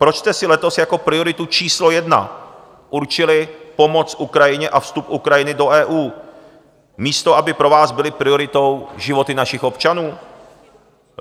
Proč jste si letos jako prioritu číslo jedna určili pomoc Ukrajině a vstup Ukrajiny do EU, místo aby pro vás byly prioritou životy našich občanů?